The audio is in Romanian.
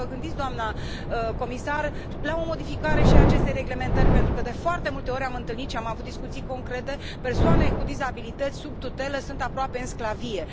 Poate vă gândiți, doamnă comisar, la o modificare și a acestei reglementări, pentru că, de foarte multe ori, am întâlnit și am avut discuții concrete persoane cu dizabilități sub tutelă sunt aproape în sclavie.